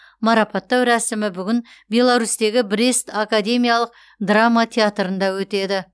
марапаттау рәсімі бүгін беларусьтегі брест академиялық драма театрында өтеді